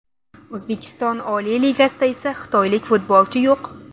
O‘zbekiston Oliy Ligasida esa xitoylik futbolchi yo‘q.